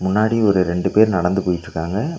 முன்னாடி ஒரு ரெண்டு பேர் நடந்து போயிட்ருக்காங்க.